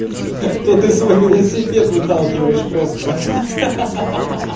то ты свой велосипед выталкиваешь просто ха-ха